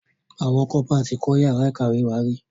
Àwọn Kọ́pà tí kọ́ yàrá ìkàwé wá rí.